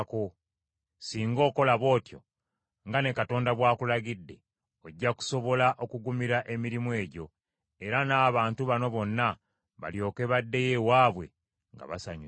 Singa okola bw’otyo, nga ne Katonda bw’akulagidde, ojja kusobola okugumira emirimu egyo, era n’abantu bano bonna balyoke baddeyo ewaabwe nga basanyuse.”